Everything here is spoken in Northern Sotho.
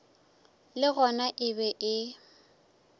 le gona e be e